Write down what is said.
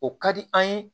O ka di an ye